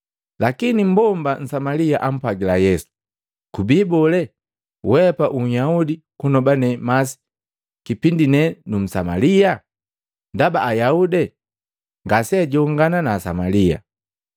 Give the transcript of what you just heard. Lakini mmbomba Nsamalia ampwagila Yesu, “Kubii bole weapa u Yaudi kunoba ne masi kipindi ne nu Msamalia?” Ndaba Ayaudi ngaseajongana na Asamalia.